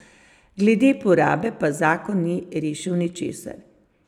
Glede porabe pa zakon ni rešil ničesar.